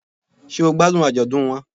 Sé o gbádùn àjọ̀dún won